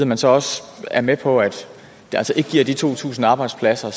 man så også er med på at det altså ikke giver de to tusind arbejdspladser